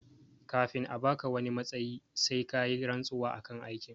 Kafin a baka wani matsayi sai kayi rantsuwa akan aikin